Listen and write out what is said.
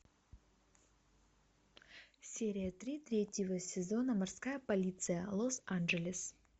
серия три третьего сезона морская полиция лос анджелес